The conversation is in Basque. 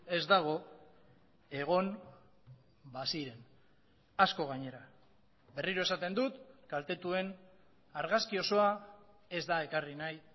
ez dago egon baziren asko gainera berriro esaten dut kaltetuen argazki osoa ez da ekarri nahi